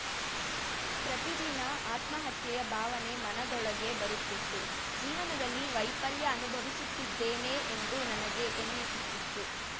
ಪ್ರತಿದಿನ ಆತ್ಮಹತ್ಯೆಯ ಭಾವನೆ ಮನದೊಳಗೆ ಬರುತ್ತಿತ್ತು ಜೀವನದಲ್ಲಿ ವೈಫಲ್ಯ ಅನುಭವಿಸುತ್ತಿದ್ದೇನೆ ಎಂದು ನನಗೆ ಎನ್ನಿಸುತ್ತಿತ್ತು